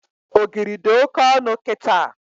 Ogiri dị Oke ọnụ kịta